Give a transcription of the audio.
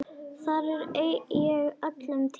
Þar er ég öllum týndur.